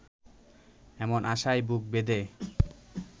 এমন আশায় বুক বেঁধে